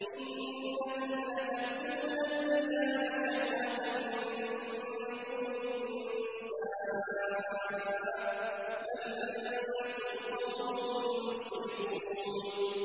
إِنَّكُمْ لَتَأْتُونَ الرِّجَالَ شَهْوَةً مِّن دُونِ النِّسَاءِ ۚ بَلْ أَنتُمْ قَوْمٌ مُّسْرِفُونَ